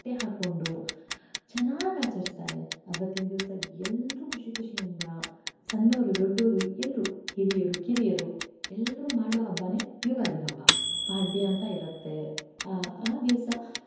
ಹಾಕ್ಕೊಂಡು ಚನ್ನಾಗೇ ಆಚರಸ್ತರೇ ಅವತ್ತಿನ ದಿವಸಾ ಎಲ್ಲರು ಖುಷಿ ಖುಷಿ ಯಿಂದ ಸಣ್ಣೋರು ದೊಡ್ಡೋರು ಎಲ್ಲರು ಹಿರಿಯರು ಕಿರಿಯರು ಎಲ್ಲರು ಮಾಡೋ ಹಬ್ಬಾನೇ ಯುಗಾದಿ ಹಬ್ಬ, ಪಾಡ್ಯ ಅಂತ ಇರತ್ತೆ ಆ ದಿವಸಾ.